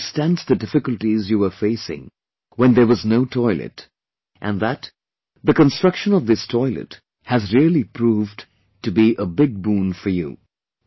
But one understands the difficulties you were facing when there was no toilet and that the construction of this toilet has really proved to be a big boon for you